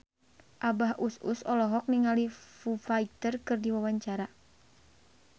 Abah Us Us olohok ningali Foo Fighter keur diwawancara